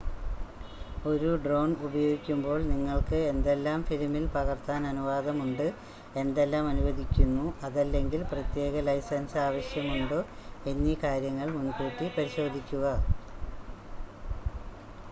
ഒരു ഡ്രോൺ ഉപയോഗിക്കുമ്പോൾ നിങ്ങൾക്ക് എന്തെല്ലാം ഫിലിമിൽ പകർത്താൻ അനുവാദമുണ്ട് എന്തെല്ലാം അനുവദിക്കുന്നു അതല്ലെങ്കിൽ പ്രത്യേക ലൈസൻസ് ആവശ്യമുണ്ടോ എന്നീ കാര്യങ്ങൾ മുൻകൂട്ടി പരിശോധിക്കുക